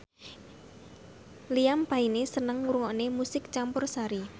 Liam Payne seneng ngrungokne musik campursari